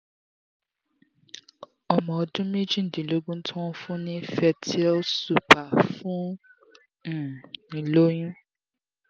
ọmọ ọdún méjìdínlógún ti wọn fun ni fertyl super fún um ìloyun